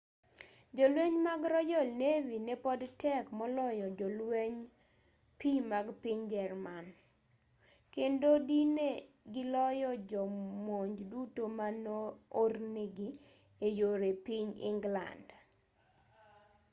jolweny mag royal navy ne pod tek moloyo jolweny pii mag piny german kriegsmarine” kendo dine giloyo jo monj duto ma no-ornigi eyore piny england